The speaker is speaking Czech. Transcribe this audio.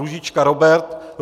Růžička Robert